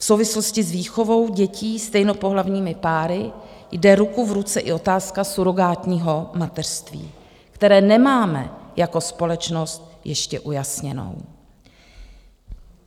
V souvislosti s výchovou dětí stejnopohlavními páry jde ruku v ruce i otázka surogátního mateřství, které nemáme jako společnost ještě ujasněnou.